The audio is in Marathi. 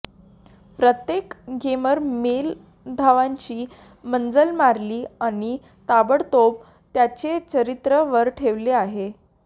प्रत्येक गेमर मेल धावांची मजल मारली आणि ताबडतोब त्याचे चारित्र्य वर ठेवले आहे